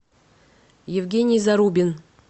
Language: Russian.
евгений зарубин